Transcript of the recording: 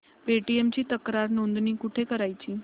Paytm ची तक्रार नोंदणी कुठे करायची